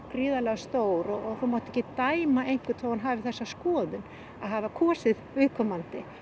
sé stór þú mátt ekki dæma einhvern þó að hann hafi þessa skoðun að hafa kosið viðkomandi